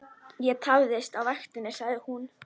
Ég tafðist á vaktinni, sagði hún.